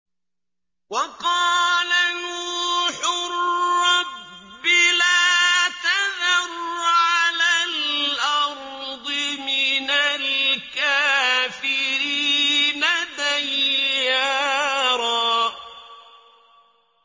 وَقَالَ نُوحٌ رَّبِّ لَا تَذَرْ عَلَى الْأَرْضِ مِنَ الْكَافِرِينَ دَيَّارًا